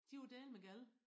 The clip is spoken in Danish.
De var dælme gale